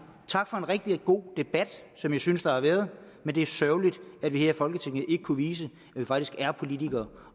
tak for en rigtig god debat som jeg synes der har været men det er sørgeligt at vi her i folketinget ikke kunne vise at vi faktisk er politikere